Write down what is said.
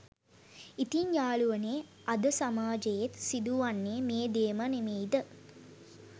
ඉතින් යාලුවනේ අද සමාජයේත් සිදු වන්නේ මේ දේම නෙමෙයිද?